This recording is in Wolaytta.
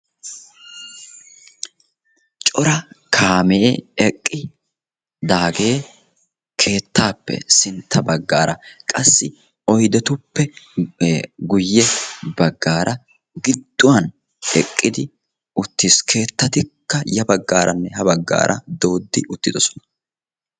Cora kaamee eqqidaagee keettaappe sintta baggaara qassi oydetuppe guye baggaara gidduwan eqqidi uttiis. Keettattikka ya baggaaranne ha baggaara dooddi uttiddossona.